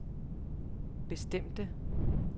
bestemte